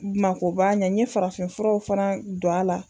Makoba ɲɛ n ye farafin furaw fɛɛnɛ don a la